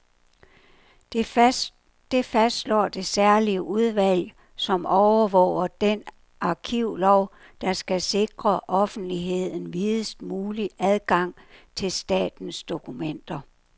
Det fastslår det særlige udvalg, som overvåger den arkivlov, der skal sikre offentligheden videst mulig adgang til statens dokumenter.